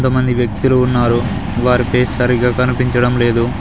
మంది వ్యక్తులు ఉన్నారు వారి ఫేస్ సరిగా కనిపించడం లేదు.